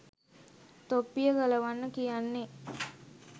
තොප්පිය ගලවන්න කියන්නේ